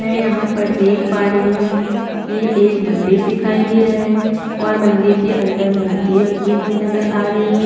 मैं यहाँ पर देख पा रही हु ये एक मंदिर दिखाई दे रहा है और मंदिर के अंदर मूर्ति भी रखी हुई नज़र आ रही है।